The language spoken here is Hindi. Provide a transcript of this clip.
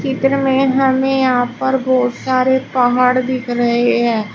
चित्र में हमें यहां पर बहोत सारे पहाड़ दिख रहे हैं।